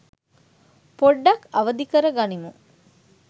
පොඩ්ඩක් අවදි කර ගනිමු